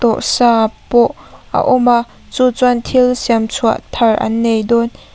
tawh sa pawh a awm a chu chuan thil siam chhuah thar an nei dawn --